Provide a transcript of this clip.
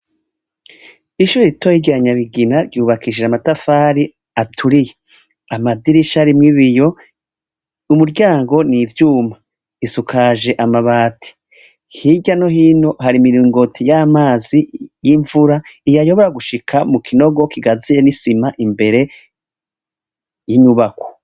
Ishure ritoya rya Nyabigina ryubakishije amatafari aturiye. Amadirisha arimwo ibiyo, umuryango ni ivyuma. Isukaje amabati. Hirya no hino hari imiringoti y'amazi y'imvura, iyayobora gushika mu kinogo kigaziye n'isima imbere y'inyubako.